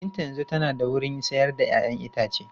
Binta yanzu tana da wurin sayar da 'ya'yan itace.